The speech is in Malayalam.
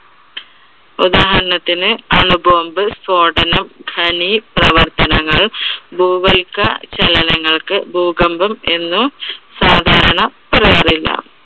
ഉദാഹരണത്തിന് അണു bomb സ്ഫോടനം, ഖനി പ്രവർത്തനങ്ങള് ഭൂവൽക്ക ചലനങ്ങൾക്ക് ഭൂകമ്പം എന്ന് സാധാരണ പറയാറില്ല.